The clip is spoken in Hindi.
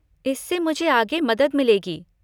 इससे मुझे आगे मदद मिलेगी।